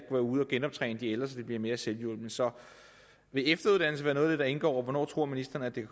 ude at genoptræne de ældre så de bliver mere selvhjulpne så vil efteruddannelse være noget af det der indgår og hvornår tror ministeren at det